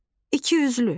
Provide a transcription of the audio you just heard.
ikiyüzlü.